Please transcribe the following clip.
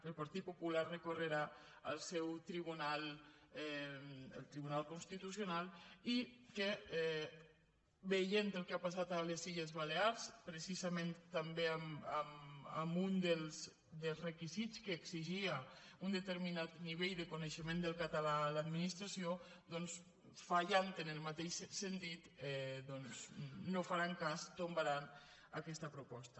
el partit popular recorrerà al seu tribunal al tribunal constitucional i que veient el que ha passat a les illes balears precisa·ment també amb un dels requisits que exigia un de·terminat nivell de coneixement del català a l’adminis·tració doncs fallant en el mateix sentit no en faran cas tombaran aquesta proposta